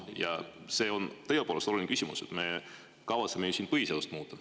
Ja see on tõepoolest oluline küsimus, me kavatseme ju siin põhiseadust muuta.